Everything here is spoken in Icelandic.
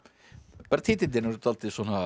bara titillinn er dálítið